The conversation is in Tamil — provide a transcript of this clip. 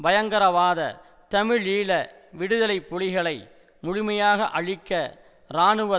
பயங்கரவாத தமிழீழ விடுதலை புலிகளை முழுமையாக அழிக்க இராணுவ